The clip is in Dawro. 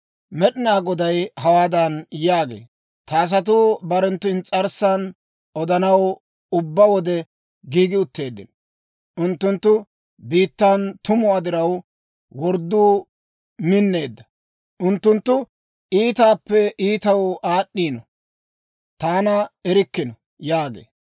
Med'inaa Goday hawaadan yaagee; «Ta asatuu barenttu ins's'arssan odanaw ubbaa wode giigi utteeddino; unttunttu biittan tumuwaa diraw wordduu minneedda. Unttunttu iitaappe iitaw aad'd'iino; taana erikkino» yaagee.